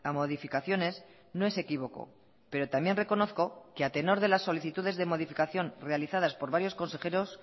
modificaciones no es equívoco pero también reconozco que a tenor de las solicitudes de modificación realizadas por varios consejeros